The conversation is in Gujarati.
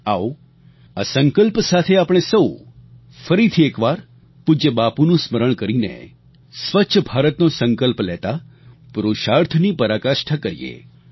આવો આ સંકલ્પ સાથે આપણે સહુ ફરીથી એકવાર પૂજ્ય બાપુનું સ્મરણ કરીને સ્વચ્છ ભારતનો સંકલ્પ લેતાં પુરુષાર્થની પરાકાષ્ઠા કરીએ